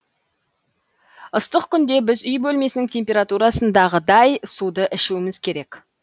ыстық күнде біз үй бөлмесінің температурасындағыдай суды ішуіміз керек